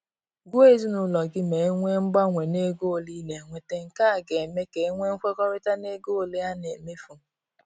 Gwa ezinaụlọ gị ma enwee mgbanwe na ego ole ị na-enweta; nke a ga-eme ka e nwee nkwekọrịta n’ego ole a na-emefu.